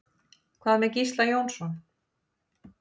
Hvað með Gísla Jónsson?